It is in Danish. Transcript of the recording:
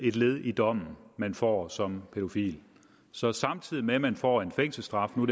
et led i dommen man får som pædofil så samtidig med at man får en fængselsstraf nu